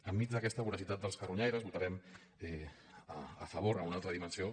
enmig d’aquesta voracitat dels carronyaires votarem a favor en una altra dimensió